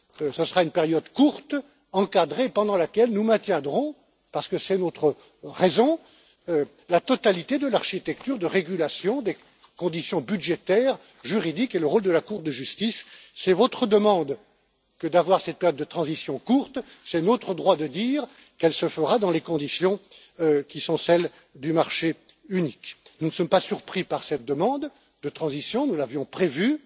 Conseil. Ce sera une période courte, encadrée, pendant laquelle nous maintiendrons, parce que c'est notre raison d'être, la totalité de l'architecture de régulation des conditions budgétaires, juridiques et le rôle de la Cour de justice. C'est votre demande que d'avoir cette période de transition courte, c'est notre droit de dire qu'elle se fera dans les conditions qui sont celles du marché unique. Nous ne sommes pas surpris par cette demande de transition, nous l'avions